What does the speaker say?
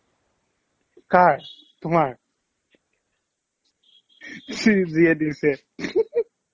কাৰ তোমাৰ যিয়ে দিছে